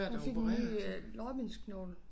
Hun fik ny øh lårbensknogle